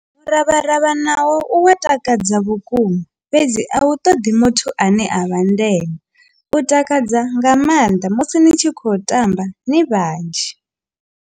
Muravharavha nawo u wa takadza vhukuma fhedzi a u ṱoḓi muthu ane a vha ndenwe u takadza nga maanḓa musi ni tshi khou tamba ni vhanzhi.